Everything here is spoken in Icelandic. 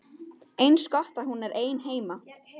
Eins gott að hún er ein heima.